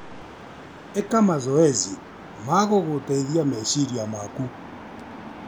Ĩka mazoezi ma gũgũgũteithia meciria maku.